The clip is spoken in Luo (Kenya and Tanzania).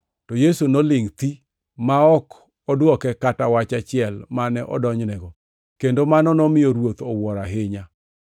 To Yesu nolingʼ alingʼa ma ok odwoke kata wach achiel mane odonjnego, kendo mano nomiyo ruoth owuoro ahinya.